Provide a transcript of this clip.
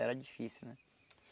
Era difícil, né?